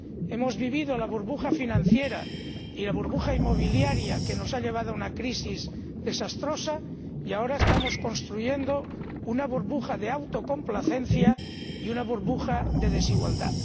Hemos vivido la burbuja financiera y la burbuja inmobiliaria, que nos ha llevado a una crisis desastrosa, y ahora estamos construyendo una burbuja de autocomplacencia y una burbuja de desigualdad.